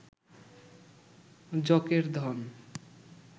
যকের ধন